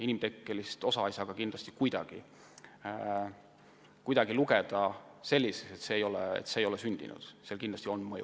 Inimtekkelist osa ei saa kuidagi lugeda selliseks, et seda pole olnud – inimtegevuse mõju on kindlasti olemas.